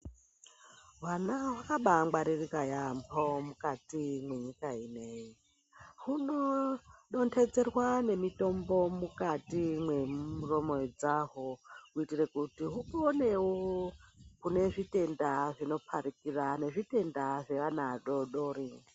Vana vakabaikwaririka yambo mukati mwenyika inei humo dondedzerwa mutombo mukati mwemuromo dzavo kuitire kuti uponewo kune zvitenda zvinoparikira nezvitenda zveana adodori.